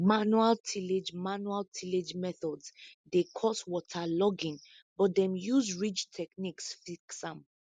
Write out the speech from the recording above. manual tillage manual tillage methods dey cause waterlogging but dem use ridge techniques fix am